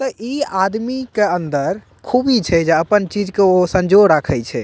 ते इ आदमी के अंदर खूबी छै जे अपन चीज के ओय संजो राखे छै।